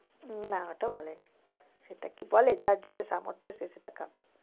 উম না ওটা বলেনি, সেটা কি বলে যার যেটা সামর্থ সে সেটা খাবে।